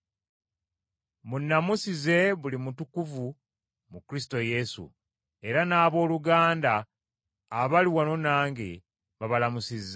Munnamusize buli mutukuvu mu Kristo Yesu; era n’abooluganda abali wano nange babalamusizza.